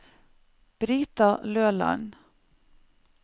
Brita Løland